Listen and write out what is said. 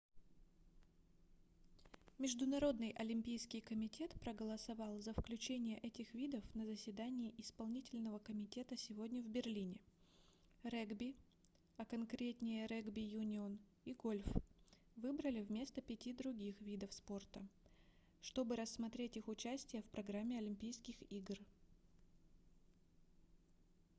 международный олимпийский комитет проголосовал за включение этих видов на заседании исполнительного комитета сегодня в берлине регби а конкретнее регби-юнион и гольф выбрали вместо пяти других видов спорта чтобы рассмотреть их участие в программе олимпийских игр